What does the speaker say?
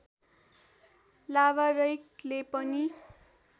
लावारैकले पनि